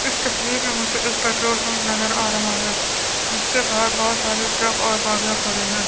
इस तस्वीर में मुझे एक पेट्रोल पंप नजर आ रहा है। जिसके बाहर बहोत सारे ट्रक और गाड़ियां खड़ी हैं।